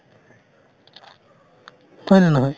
হয়নে নহয়